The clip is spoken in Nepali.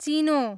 चिनो